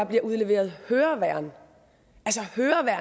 bliver udleveret høreværn